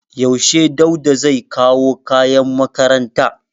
Yaushe Dauda zai kawo kayan makaranta?